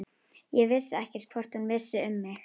Ég vissi ekkert hvort hún vissi um mig.